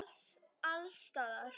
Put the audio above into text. Alls staðar.